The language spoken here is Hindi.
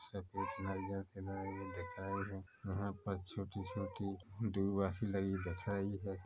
दिख रहे है यहाँ पर छोटी-छोटी दूर्वा सी लगी दिख रही है।